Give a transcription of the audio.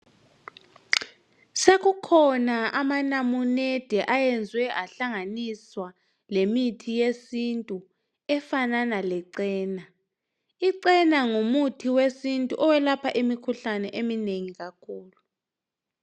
Sekukhona amanamunede ayenzwe ahlanganiswa lemithi yesintu efanana lecena. Icena ngumuthi wesintu oyelapha imikhuhlane eminengi kakhulu.